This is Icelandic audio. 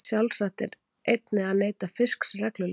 Sjálfsagt er einnig að neyta fisks reglulega.